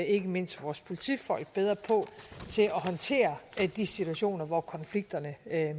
ikke mindst vores politifolk bedre på til at håndtere de situationer hvor konflikterne